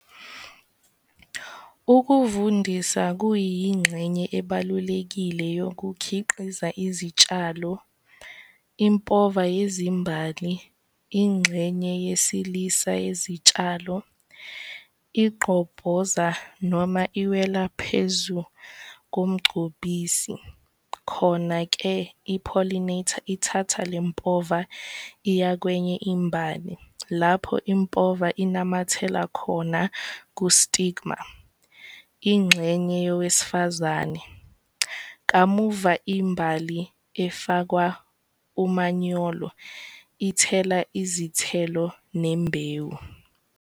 Ukuvundisa kuyingxenye ebalulekile yokukhiqiza izitshalo. Impova yezimbali ingxenye yesilisa yezitshalo igqobhoza noma iwela phezu komgcobisi, khona-ke i-pollinator ithatha le mpova iyakwenye imbali lapho impova inamathela khona ku-stigma, ingxenye yowesifazane. Kamuva imbali ifakwa umanyolo ithela izithelo nembewu.